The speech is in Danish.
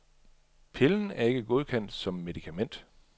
Pillen er ikke godkendt som medikament.